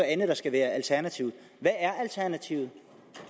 andet der skal være alternativet hvad er alternativet